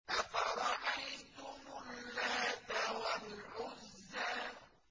أَفَرَأَيْتُمُ اللَّاتَ وَالْعُزَّىٰ